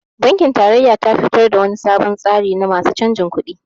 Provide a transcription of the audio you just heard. Bankin tarayya tafi to da wani solon tsari na masu canjin kuɗi